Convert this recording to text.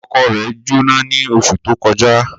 Oko rẹ̀ Jóná ní oṣù tó kọjá